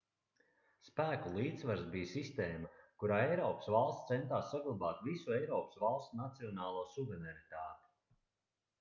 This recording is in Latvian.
spēku līdzsvars bija sistēma kurā eiropas valstis centās saglabāt visu eiropas valstu nacionālo suverenitāti